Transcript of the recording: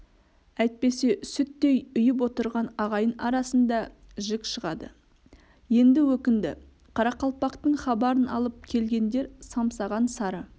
әйтпесе сүттей үйіп отырған ағайын арасында жік шығады енді өкінді қарақалпақтың хабарын алып келгендер самсаған сары